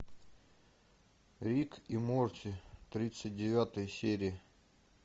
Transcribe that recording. рик и морти тридцать девятая серия